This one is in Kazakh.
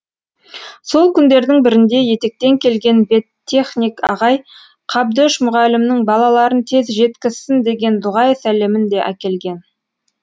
сол күндердің бірінде етектен келген веттехник ағай қабдөш мұғалімнің балаларын тез жеткізсін деген дұғай сәлемін де әкелген